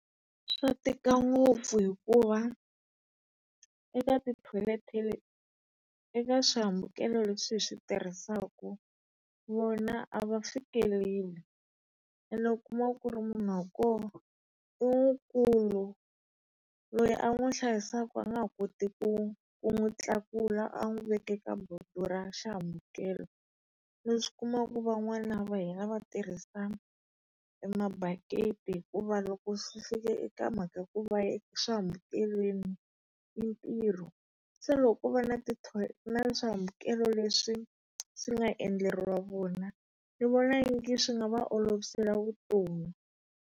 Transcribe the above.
Swa tika ngopfu hikuva eka tithoyileti eka swihambukelo leswi hi swi tirhisaku, vona a va fikeleli. Ene u kuma ku ri munhu wa kona i mukulu, loyi a n'wi hlayisaka a nga ha koti ku ku n'wi tlakula a n'wi veka eka boto ra xihambukelo. Leswi u kumaka ku van'wana va hina va tirhisa e mabakiti hikuva loko swi fika eka mhaka ya ku swihambukelweni i ntirho. Se loko ko va na ti na swihambukelo leswi swi nga endleriwa vona, ni vona ingi swi nga va olovisela vutomi.